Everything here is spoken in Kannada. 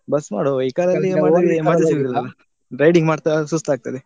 Bus ಮಾಡ್ವ riding ಮಾಡ್ತಾ ಸುಸ್ತಾಗ್ತದೆ.